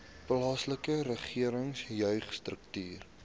plaaslike regering jeugstrukture